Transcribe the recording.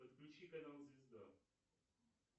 подключи канал звезда